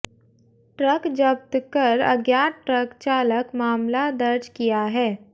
truck जब्त कर अज्ञात ट्रक चालक मामला दर्ज किया है